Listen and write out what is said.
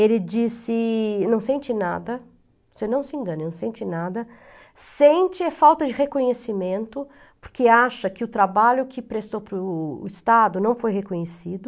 Ele disse, não sente nada, você não se engana, ele não sente nada, sente é falta de reconhecimento, porque acha que o trabalho que prestou para o Estado não foi reconhecido.